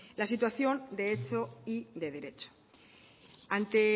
la situación de hecho y de derecho ante